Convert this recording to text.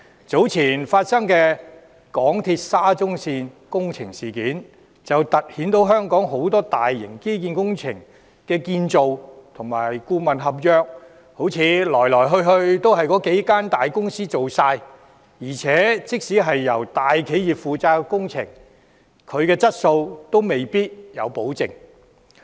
早前揭發的香港鐵路有限公司沙田至中環線工程事件，凸顯香港很多大型基建工程的建造和顧問合約，來來去去都只是由幾間大公司承辦，而且即使是由大企業承建的工程，質素亦未必有保證。